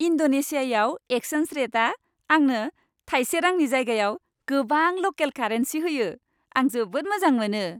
इन्ड'नेशियायाव exchange रेटआ आंनो थायसे रांनि जायगायाव गोबां ल'केल कारेन्सि होयो, आं जोबोद मोजां मोनो।